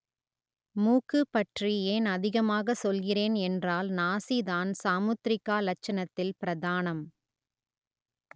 மூக்கு பற்றி ஏன் அதிகமாக சொல்கிறேன் என்றால் நாசிதான் சாமுத்திரிகா லட்சணத்தில் பிரதானம்